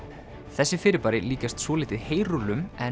þessi fyrirbæri líkjast svolítið heyrúllum en